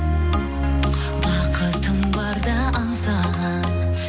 бақытым барда аңсаған